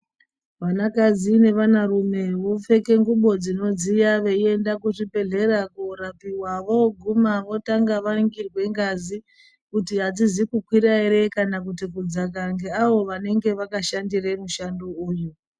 Vanakadzi nevanarume vopfeke ngubo dzinodziya veienda kuzvibhedhlera voguma votange varingirwe ngazi kuti adzizi kukwira here kana kuti kudzaka ngeavo vanenge vakashandire mushando uyu.